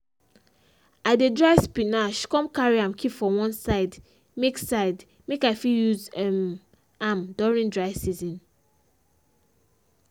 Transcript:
i dey dry spinach come carry am keep for one side make side make i fit use um am during dry season.